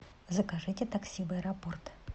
закажите такси в аэропорт